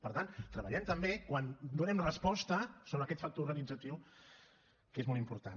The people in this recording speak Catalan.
per tant treballem també quan donem resposta sobre aquest factor organitzatiu que és molt important